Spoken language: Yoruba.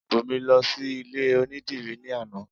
Bùnmi lọ sí ilé onídìrí ní àná